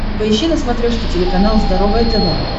поищи на смотрешке телеканал здоровое тв